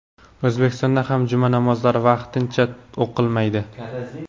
O‘zbekistonda ham juma namozlari vaqtincha o‘qilmaydi .